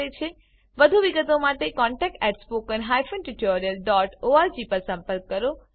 વધુ વિગત માટે contactspoken tutorialorg પર સંપર્ક કરો